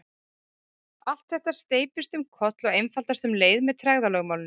allt þetta steypist um koll og einfaldast um leið með tregðulögmálinu